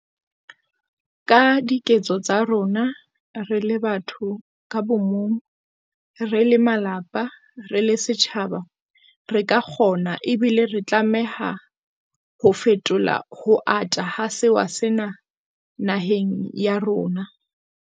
Ka diketso tsa rona, re le batho ka bomong, re le malapa, re le setjhaba, re ka kgona ebile re tlameha ho fetola ho ata ha sewa sena naheng ya rona.